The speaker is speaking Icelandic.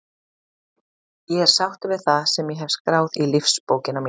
Ég er sáttur við það sem ég hef skráð í lífsbókina mína.